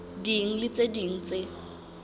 ding le tse ding tse